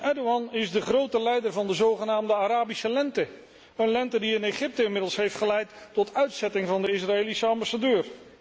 Erdoğan is de grote leider van de zogenaamde Arabische Lente, een lente die in Egypte inmiddels heeft geleid tot uitzetting van de Israëlische ambassadeur.